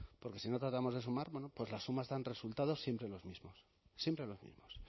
porque si no tratamos de sumar bueno pues las sumas dan resultados siempre los mismos siempre los mismos